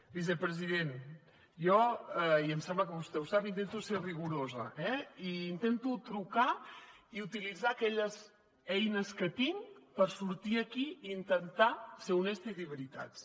vicepresident jo i em sembla que vostè ho sap intento ser rigorosa eh i intento trucar i utilitzar aquelles eines que tinc per sortir aquí i intentar ser honesta i dir veritats